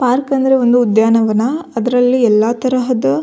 Park ಅಂದ್ರೆ ಒಂದು ಉದ್ಯಾನವನ ಅದರಲ್ಲಿ ಎಲ್ಲಾ ತರಹದ.